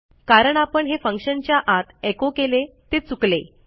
कारण आपण हे फंक्शनच्या आत echoकेले ते चुकले